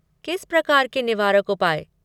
किस प्रकार के निवारक उपाय?